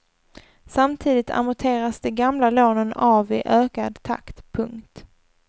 Samtidigt amorteras de gamla lånen av i ökad takt. punkt